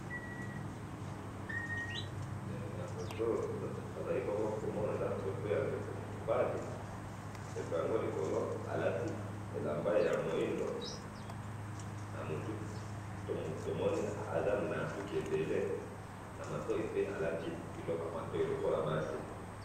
he na foto oyo tozali bongo komona eza foto ya ndeko mobali, ndeko yango likolo alati elamba ya mwindu na mutu tomoni aza na suki ebele pe na matoyi alati biloko lokola ya basi.